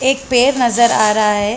एक पेड़ नज़र आ रहा हैं।